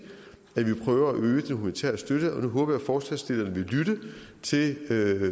prøver at øge den humanitære støtte og nu håber jeg at forslagsstillerne vil lytte til